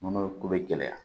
Nɔnɔ ko bɛ gɛlɛya